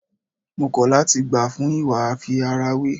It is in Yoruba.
Mo kọ̀ láti gbà fún ìwà àfi ara wé.